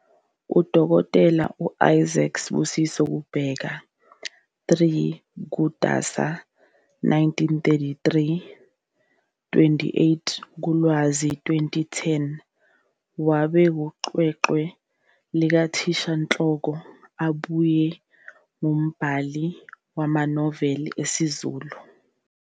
Dkt Isaac Sibusiso Kubheka, 3 kuNdasa 1933 - 28 kuLwazi 2010, wabe eyiqweqwe likathishanhloko abuye ngumbhali wamanoveli esiZulu.